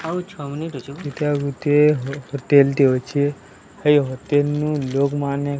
ଏଇଟା ଗୋଟିଏ ହୋଟେଲ୍ ଟେ ଅଛି ଏଇ ହୋଟେଲ୍ ନୁଁ ଲୋଗ୍ ମାନେ --